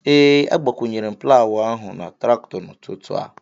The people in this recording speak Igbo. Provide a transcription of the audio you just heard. Ee, agbakwụnyere m plawụ ahụ na traktọ n'ụtụtụ a